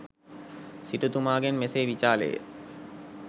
සිටුතුමාගෙන් මෙසේ විචාළේය.